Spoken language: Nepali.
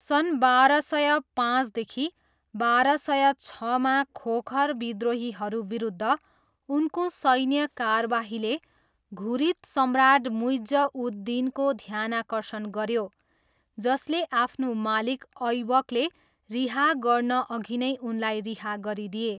सन् बाह्र सय पाँचदेखि बाह्र सय छमा खोखर विद्रोहीहरू विरुद्ध उनको सैन्य कारबाहीले घुरिद सम्राट मुइज्ज उद दिनको ध्यानाकर्षण गऱ्यो, जसले आफ्नो मालिक ऐबकले रिहा गर्नअघि नै उनलाई रिहा गरिदिए।